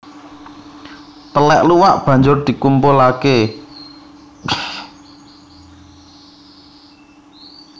Telèk luwak banjur dikumpulake